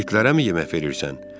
İtlərəmi yemək verirsən?